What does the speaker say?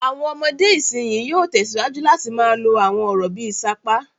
Àwọn ọmọdé ìsìnyín yóò tẹ̀síwájú láti máa lo àwọn ọ̀rọ̀ bí i "sapá".